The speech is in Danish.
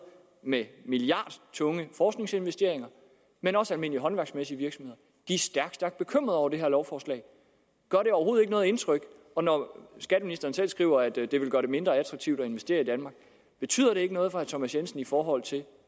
med milliardtunge forskningsinvesteringer men også almindelige håndværksmæssige virksomheder er stærkt stærkt bekymret over det her lovforslag gør det overhovedet ikke noget indtryk når skatteministeren selv skriver at det det vil gøre det mindre attraktivt at investere i danmark betyder det ikke noget for herre thomas jensen i forhold til